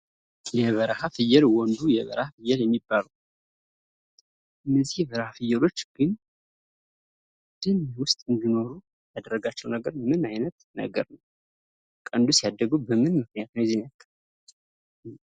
የበረሀ ፍየል ወንዱ የበረሃ ፍየል የሚባለው ።እነዚህ የበረሃ ፍየሎች ግን ደን ውስጥ እንድኖሩ ያረጋቸው ምንድን ነው? ቀንዱስ ያደገው በምን ምክንያት ነው?